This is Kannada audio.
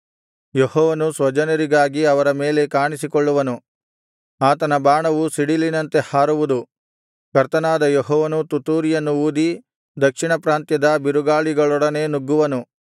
ಯೆಹೋವನು ಸ್ವಜನರಿಗಾಗಿ ಅವರ ಮೇಲೆ ಕಾಣಿಸಿಕೊಳ್ಳುವನು ಆತನ ಬಾಣವು ಸಿಡಿಲಿನಂತೆ ಹಾರುವುದು ಕರ್ತನಾದ ಯೆಹೋವನು ತುತ್ತೂರಿಯನ್ನು ಊದಿ ದಕ್ಷಿಣ ಪ್ರಾಂತ್ಯದ ಬಿರುಗಾಳಿಗಳೊಡನೆ ನುಗ್ಗುವನು